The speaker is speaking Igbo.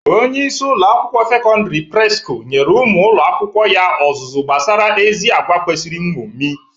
Onyeisi ụlọ akwụkwọ sekondịri Presco nyere ụmụ ụlọ akwụkwọ ya ọzụzụ gbasara ezi agwa kwesiri nñomi.